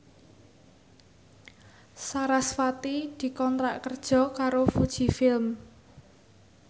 sarasvati dikontrak kerja karo Fuji Film